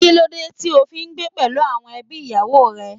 Kí ló dé tí ó fi ń gbé pẹ̀lú àwọn ẹbí ìyàwó rẹ.